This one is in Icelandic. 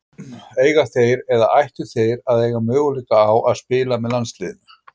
Eiga þeir eða ættu þeir að eiga möguleika á að spila með landsliði?